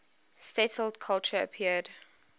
settled culture appeared